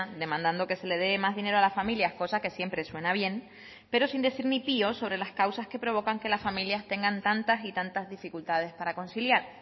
demandando que se le dé más dinero a las familias cosa que siempre suena bien pero sin decir ni pio sobre las causas que provocan que las familias tengan tantas y tantas dificultades para conciliar